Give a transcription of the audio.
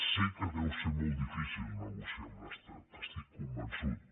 sé que deu ser molt difícil negociar amb l’estat n’estic convençut